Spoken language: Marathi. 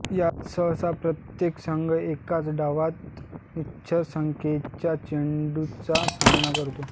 यात सहसा प्रत्येक संघ एकाच डावात निश्चित संख्येच्या चेंडूचा सामना करतो